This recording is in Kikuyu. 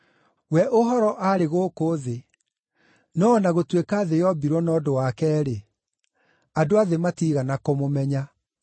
We Ũhoro aarĩ gũkũ thĩ, no o na gũtuĩka thĩ yombirwo na ũndũ wake-rĩ, andũ a thĩ matiigana kũmũmenya.